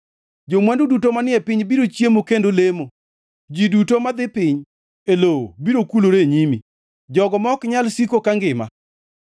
Jo-mwandu duto manie piny biro chiemo kendo lemo; ji duto madhi piny e lowo biro kulore e nyime, jogo ma ok nyal siko kangima.